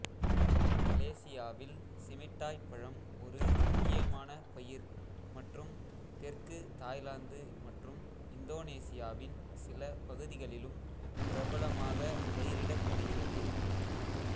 மலேசியாவில் சிமிட்டாய் பழம் ஒரு முக்கியமான பயிர் மற்றும் தெற்கு தாய்லாந்து மற்றும் இந்தோனேசியாவின் சில பகுதிகளிலும் பிரபலமாக பயிரிடப்படுகிறது